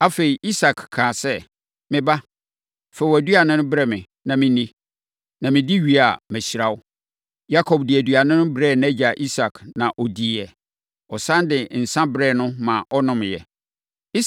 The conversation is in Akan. Afei, Isak kaa sɛ, “Me ba, fa wʼaduane no brɛ me na menni, na medi wie a, mahyira wo.” Yakob de aduane no brɛɛ nʼagya Isak, na ɔdiiɛ; ɔsane de nsã brɛɛ no ma ɔnomeeɛ.